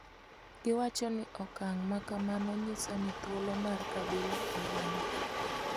Giwacho ni okang' ma kamano nyiso ni thuolo mar kabila orumo.